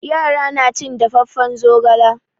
Yara na cin dafaffen zogala.